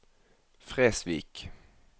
Fresvik